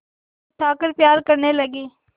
उठाकर प्यार करने लगी